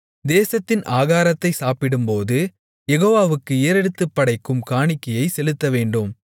தேசத்தின் ஆகாரத்தை சாப்பிடும்போது யெகோவாவுக்கு ஏறெடுத்துப் படைக்கும் காணிக்கையைச் செலுத்தவேண்டும்